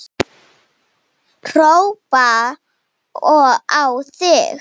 Hrópa á þig!